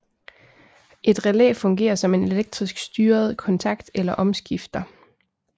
Et relæ fungerer som en elektrisk styret kontakt eller omskifter